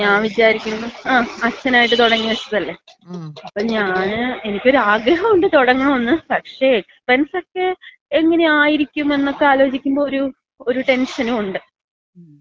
അപ്പൊ ഞാൻ വിചാരിക്കുന്നു, അച്ഛനായിട്ട് തുടങ്ങിവച്ചതല്ലേ. അപ്പ ഞാന് എനിക്ക് ഒരു ആഗ്രഹൊണ്ട് തൊടങ്ങണോന്ന്. പക്ഷേ എക്സ്പെൻസൊക്കെ എങ്ങനെയായിരിക്കും എന്നൊക്കെ ആലോചിക്കുമ്പോ ഒരു ടെൻഷനുഒണ്ട്. മ്മ്